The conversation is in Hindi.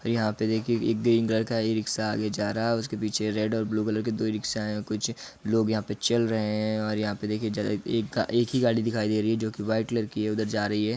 यहाँ पे देखिए एक ग्रीन कलर का एक ई रिक्शा आगे जा रहा है उसके पीछे रेड और ब्लू कलर की दो रिक्शा है कुछ लोग यहाँ पर चल रहे हैं और यहाँ पे देखिए जैसे एक गाड़ी एक ही गाड़ी दिखाई दे रही है जो कि वाइट कलर की है उधर जा रही है।